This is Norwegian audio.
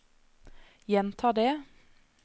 gjenta det